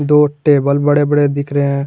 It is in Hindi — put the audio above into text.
दो टेबल बड़े बड़े दिख रहे हैं।